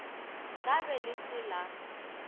ka be le se la